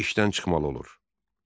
O işdən çıxmalı olur.